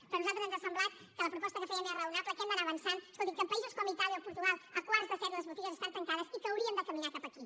però a nosaltres ens ha semblat que la proposta que fèiem era raonable que hem d’anar avançant escoltin que en països com itàlia o portugal a quarts de set les botigues estan tancades i que hauríem de caminar cap aquí